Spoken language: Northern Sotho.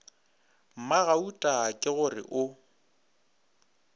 mmagauta ke go re o